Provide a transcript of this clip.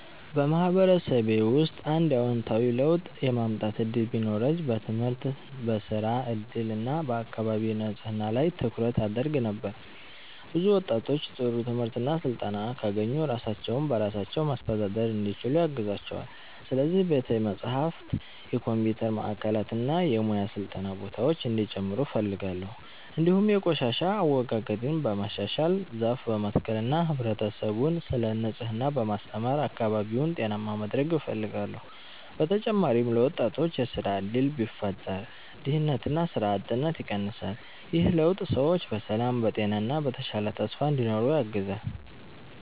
በማህበረሰቤ ውስጥ አንድ አዎንታዊ ለውጥ የማምጣት እድል ቢኖረኝ በትምህርት፣ በሥራ እድል እና በአካባቢ ንጽህና ላይ ትኩረት አደርግ ነበር። ብዙ ወጣቶች ጥሩ ትምህርት እና ስልጠና ካገኙ ራሳቸውን በራሳቸው ማስተዳደር እንዲችሉ ያግዛቸዋል። ስለዚህ ቤተ መጻሕፍት፣ የኮምፒውተር ማዕከላት እና የሙያ ስልጠና ቦታዎች እንዲጨምሩ እፈልጋለሁ። እንዲሁም የቆሻሻ አወጋገድን በማሻሻል፣ ዛፍ በመትከል እና ህብረተሰቡን ስለ ንጽህና በማስተማር አካባቢውን ጤናማ ማድረግ እፈልጋለሁ። በተጨማሪም ለወጣቶች የሥራ እድል ቢፈጠር ድህነትና ሥራ አጥነት ይቀንሳል። ይህ ለውጥ ሰዎች በሰላም፣ በጤና እና በተሻለ ተስፋ እንዲኖሩ ያግዛል።